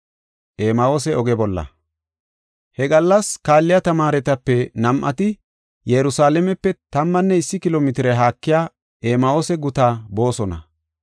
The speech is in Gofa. He gallas kaalliya tamaaretape nam7ati Yerusalaamepe tammanne issi kilo mitire haakiya Emahoose guta boosona.